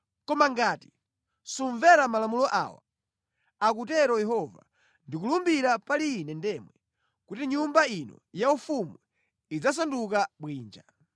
Koma ngati sumvera malamulo awa, akutero Yehova, ndikulumbira pali Ine ndemwe kuti nyumba ino yaufumu idzasanduka bwinja.’ ”